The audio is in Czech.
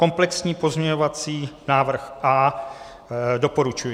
Komplexní pozměňovací návrh A - doporučuji.